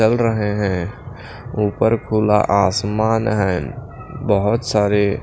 चल रहे हैं ऊपर खुला आसमान है बहुत सारे--